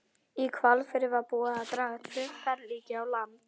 Í Hvalfirði var búið að draga tvö ferlíki á land.